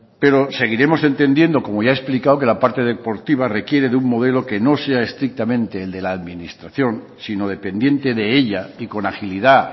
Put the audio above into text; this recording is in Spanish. pero seguiremos entendiendo como ya he explicado que la parte deportiva requiere de un modelo que no sea estrictamente el de la administración sino dependiente de ella y con agilidad